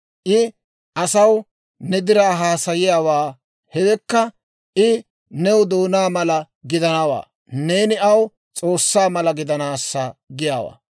I asaw ne diraa haasayanawaa; hewekka, I new doonaa mala gidanawaa, neeni aw S'oossaa mala gidanaassa giyaawaa.